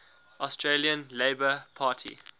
australian labor party